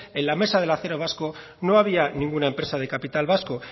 en la mesa del acero vasco no había ninguna empresa de capital vasco